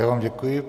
Já vám děkuji.